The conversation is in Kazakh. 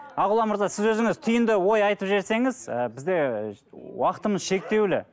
ақұлан мырза сіз өзіңіз түйінді ой айтып жіберсеңіз і бізде і уақытымыз шектеулі